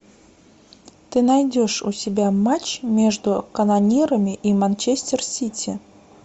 ты найдешь у себя матч между канонирами и манчестер сити